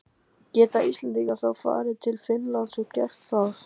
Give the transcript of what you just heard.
Geta Íslendingar þá farið til Finnlands og gert það þar?